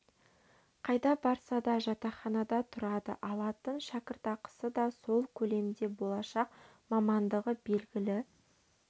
қайда барса да жатақханада тұрады алатын шәкіртақысы да сол көлемде болашақ мамандығы белгілі